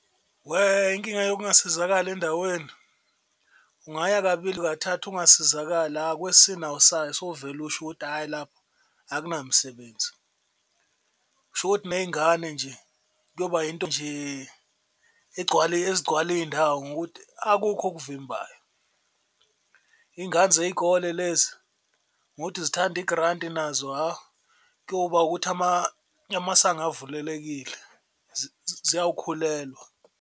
Weh, inkinga yokungasizakali endaweni ungaya kabili kathathu ungasizakali kwesine awusayi sowuvele usho ukuthi hhayi lapha akunamsebenzi. Kusho ukuthi ney'ngane nje kuyoba yinto nje ezigcwala iy'ndawo ngokuthi akukho okuvimbayo. Ingane zey'kole lezi ngokuthi zithanda igranti nazo hha, kuyoba ukuthi amasango avulelekile ziyawukhulelwa.